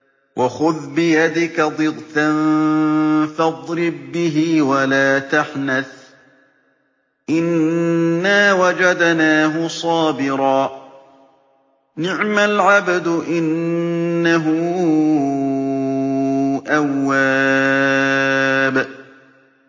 وَخُذْ بِيَدِكَ ضِغْثًا فَاضْرِب بِّهِ وَلَا تَحْنَثْ ۗ إِنَّا وَجَدْنَاهُ صَابِرًا ۚ نِّعْمَ الْعَبْدُ ۖ إِنَّهُ أَوَّابٌ